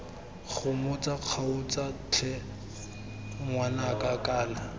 gomotsa kgaotsa tlhe ngwanaka kana